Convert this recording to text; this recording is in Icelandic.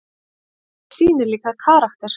Þetta sýnir líka karakter.